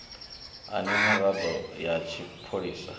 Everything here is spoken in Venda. a na miraḓo ya tshipholisa